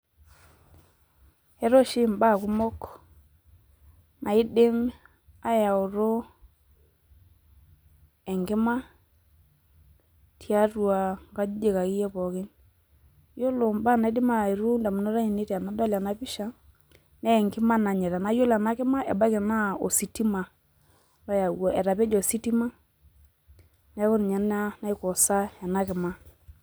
Entae oshi imbaa kumok naidim ayatu enkima tiatua inkajijik akeyie pookin , ore entoki nalotu idamunot aainei tenadol ena pisha naa yiolo ena pisha naa enkima nanyita , naa ore ena kima naa ebaiki naa ositima oyaua etapeje ositima , neeku ninye ena naikoosaa ena kima.